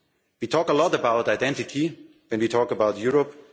We talk a lot about identity when we talk about Europe.